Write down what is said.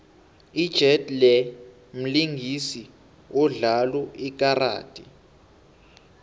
ijet lee mlingisi odlalo lkaradi